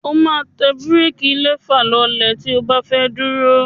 O máa tẹ búréékí lẹfà lọlẹ̀ tí o bá fẹ́ dúró.